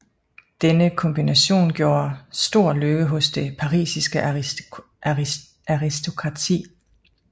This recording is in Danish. Denne kombination gjorde stor lykke hos det parisiske aristokrati